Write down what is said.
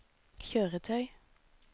kjøretøy